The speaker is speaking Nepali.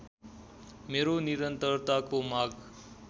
मेरो निरन्तरताको माग